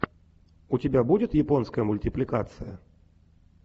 у тебя будет японская мультипликация